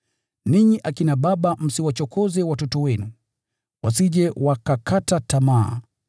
Ninyi akina baba, msiwachokoze watoto wenu, wasije wakakata tamaa.